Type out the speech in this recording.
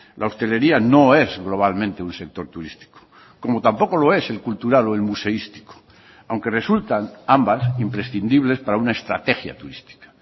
la hostelería no es globalmente un sector turístico como tampoco lo es el cultural o el museístico aunque resultan ambas imprescindibles para una estrategia turística